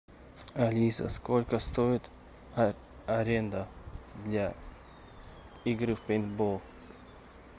алиса сколько стоит аренда для игры в пейнтбол